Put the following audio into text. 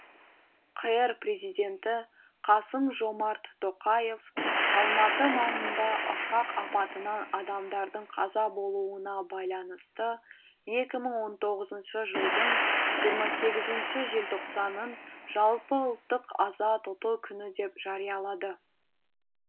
қр президенті қасым жомарт тоқаев алматы маңында ұшақ апатынан адамдардың қаза болуына байланысты екі мың он тоғызыншы жылдың жиырма сегізінші желтоқсанын жалпыұлттық аза тұту күні деп жариялады